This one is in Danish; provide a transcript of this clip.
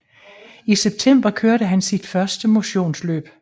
I september kørte han sit første motionsløb